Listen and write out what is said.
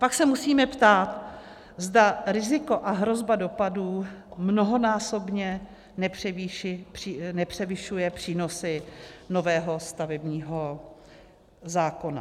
Pak se musíme ptát, zda riziko a hrozba dopadů mnohonásobně nepřevyšuje přínosy nového stavebního zákona.